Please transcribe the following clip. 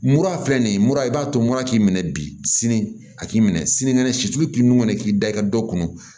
Mura filɛ nin ye mura i b'a to mura k'i minɛ bi sini a k'i minɛ sini kɛnɛ situlu k'i nugu minɛ k'i da i ka dɔ kun